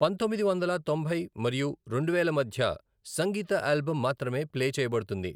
పంతొమ్మిది వందల తొంభై మరియు రెండు వేలు మధ్య సంగీత ఆల్బమ్ మాత్రమే ప్లే చేయబడుతుంది